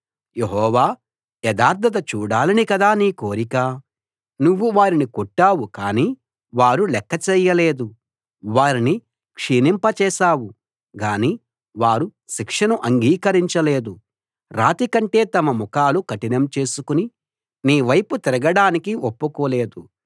యెహోవా యథార్థత చూడాలని కదా నీ కోరిక నువ్వు వారిని కొట్టావు కానీ వారు లెక్క చేయలేదు వారిని క్షీణింప జేశావు గానీ వారు శిక్షను అంగీకరించలేదు రాతికంటే తమ ముఖాలు కఠినం చేసుకుని నీ వైపు తిరగడానికి ఒప్పుకోలేదు